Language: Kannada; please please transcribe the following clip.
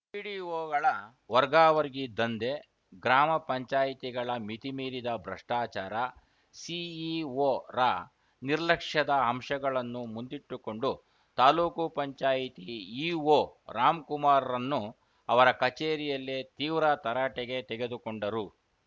ಪಿಡಿಒಗಳ ವರ್ಗಾವರ್ಗಿ ದಂಧೆ ಗ್ರಾಮ ಪಂಚಾಯತಿ ಗಳ ಮಿತಿ ಮೀರಿದ ಭ್ರಷ್ಟಾಚಾರ ಸಿಇಒರ ನಿರ್ಲಕ್ಷ್ಯದ ಅಂಶಗಳನ್ನು ಮುಂದಿಟ್ಟುಕೊಂಡು ತಾಲೂಕು ಪಂಚಾಯತಿ ಇಒ ರಾಮ್‌ಕುಮಾರ್‌ರನ್ನು ಅವರ ಕಚೇರಿಯಲ್ಲೇ ತೀವ್ರ ತರಾಟೆಗೆ ತೆಗೆದುಕೊಂಡರು